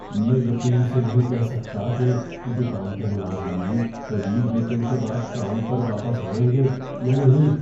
میں یقین سے نہیں کہہ سکتا کہ دکان کے ملازمین طویل ویک اینڈ کے بعد کام پر واپس آئیں گے یا نہیں۔